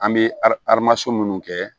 An bɛ arimason minnu kɛ